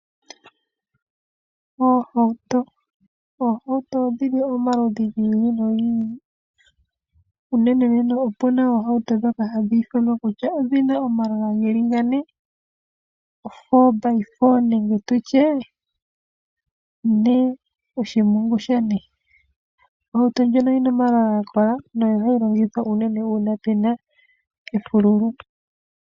Oohauto Oohauto odhili omaludhi gi ili nogi ili, unenenene opuna oohauto dhoka hadhi ithanwa kutya odhina omalola geli ga ne ,o4by4 nenge tutye ne oshimpungu sha ne. Ohauto ndjino oyina omalola ga kola, noyo hayi longithwa unene uuna pena efululu.